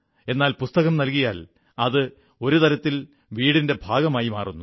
എന്നാൽ പുസ്തകം നൽ്കിയാൽ അത് ഒരു തരത്തിൽ വീടിന്റെ ഭാഗമായി മാറുന്നു